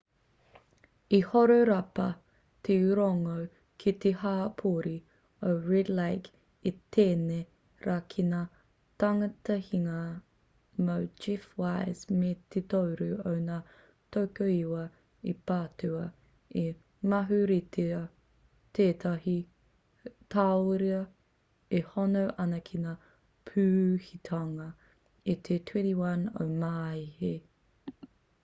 i horapa te rongo ki te hapori o red lake i tēnei rā ki ngā tangihanga mō jeff wise me te toru o ngā tokoiwa i patua i mauheretia tētahi tauira e hono ana ki ngā pūhitanga i te 21 o maehe